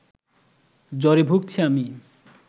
জ্বরে ভুগছি আমি